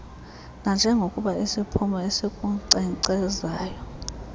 nanjengokuba inesiphumo esikunkcenkcezayo